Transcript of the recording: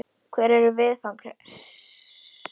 Hver eru viðfangsefnin?